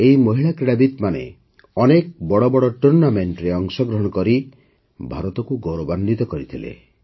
ଏହି ମହିଳା କ୍ରୀଡ଼ାବିତ୍ମାନେ ଅନେକ ବଡ଼ ବଡ଼ ଟୁର୍ଣ୍ଣାମେଣ୍ଟରେ ଅଂଶଗ୍ରହଣ କରି ଭାରତକୁ ଗୌରବାନ୍ୱିତ କରିଥିଲେ